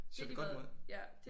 Så ved godt mod